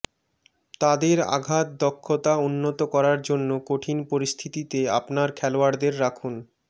তাদের আঘাত দক্ষতা উন্নত করার জন্য কঠিন পরিস্থিতিতে আপনার খেলোয়াড়দের রাখুন